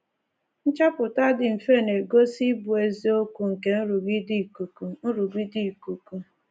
Nchọpụta dị mfe na-egosi ịbụ eziokwu nke nrụgide ikuku nrụgide ikuku.